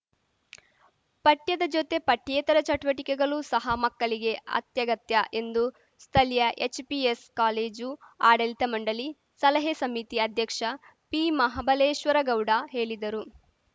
ಪಠ್ಯದ ಜೊತೆ ಪಠ್ಯೇತರ ಚಟುವಟಿಕೆಗಳು ಸಹ ಮಕ್ಕಳಿಗೆ ಅತ್ಯಗತ್ಯ ಎಂದು ಸ್ಥಳೀಯ ಎಚ್‌ಪಿಎಸ್‌ ಕಾಲೇಜು ಆಡಳಿತ ಮಂಡಳಿ ಸಲಹಾ ಸಮಿತಿ ಅಧ್ಯಕ್ಷ ಪಿಮಹಾಬಲೇಶ್ವರಗೌಡ ಹೇಳಿದರು